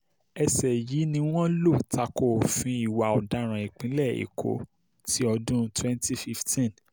ẹsẹ yìí ni wọ́n lọ ta ko òfin ìwà ọ̀daràn ìpínlẹ̀ èkó ti ọdún twenty fifteen